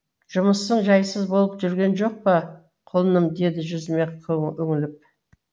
жұмысың жайсыз болып жүрген жоқ па құлыным деді жүзіме үңіліп